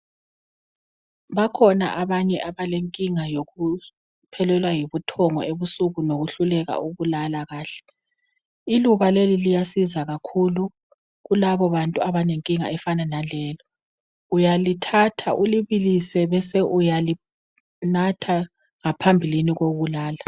Bakhona abanye abalenkinga yokuphelelwa yibuthongo ebusuku lokuhluleka ukulala kuhle. Iluba leli liyasiza kakhulu kulabo bantu abanenkinga efana naleyo .Uyalithatha ulibilise bese uyalinatha ngaphambilini kokulala.